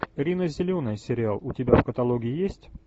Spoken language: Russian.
рина зеленая сериал у тебя в каталоге есть